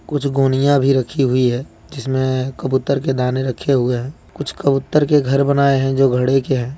कुछ गोनिया भी रखी हुई है जिसमें कबूतर के दाने रखे हुए हैं कुछ कबूतर के घर बनाए हैं जो घड़े के हैं।